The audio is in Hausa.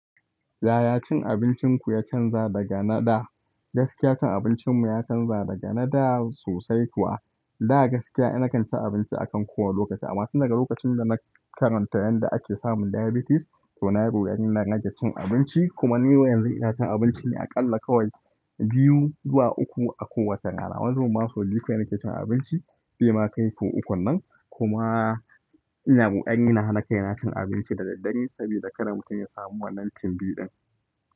Yaya cin abincinku ya canza daga na da? Gaskiya cin abincinmu ya canza daga na da sosai kuwa. Da gaskiya ina kan cin abinci akan kowa lokaci amma tunda lokacin da na karanta yanda ake samun diabetes, to nayi roƙo yani na rage cin abinci kuma ni yanzu ina cin abinci ne aƙalla kawai biyu zuwa uku a kowace rana. Wani zubin ma sau biyu kawai nake cin abinci bai ma kai sau ukun na ina wukurinkuma ina hana kai na cin abinci da daddare saboda kada mutum ya samu wannan timbi din.